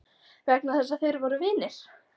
Vegna þess að þeir voru vinir?